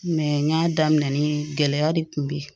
n y'a daminɛ ni gɛlɛya de kun bɛ yen